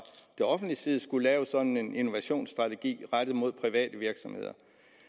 det offentliges side skulle lave sådan en innovationsstrategi rettet mod private virksomheder